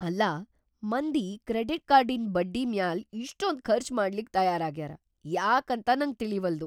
ಅಲ್ಲಾ ಮಂದಿ ಕ್ರೆಡಿಟ್ ಕಾರ್ಡಿನ್ ಬಡ್ಡಿ ಮ್ಯಾಲ್ ಇಷ್ಟೊಂದ್ ಖರ್ಚ್‌ ಮಾಡ್ಲಿಕ್ ತಯಾರಾಗ್ಯಾರಾ ಯಾಕಂತ ನಂಗ್ ತಿಳೀವಲ್ದು.